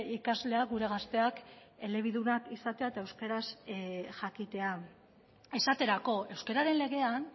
ikasleak gure gazteak elebidunak izatea eta euskaraz jakitea esaterako euskararen legean